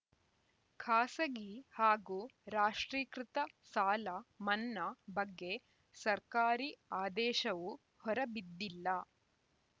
ಖಾಸಗಿ ಹಾಗೂ ರಾಷ್ಟ್ರೀಕೃತ ಸಾಲ ಮನ್ನಾ ಬಗ್ಗೆ ಸರ್ಕಾರಿ ಆದೇಶವೂ ಹೊರ ಬಿದ್ದಿಲ್ಲ